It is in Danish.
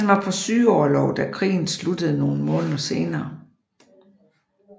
Han var på sygeorlov da krigen sluttede nogle måneder senere